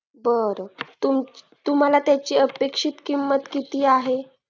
तुम्हाला त्याची अपेक्षित किंमत किती आहे